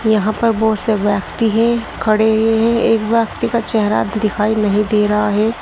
यहां पर बहुत से व्यक्ति है खड़े हैं एक व्यक्ति का चेहरा दिखाई नहीं दे रहा है।